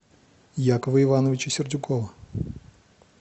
якова ивановича сердюкова